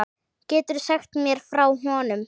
Geturðu sagt mér frá honum?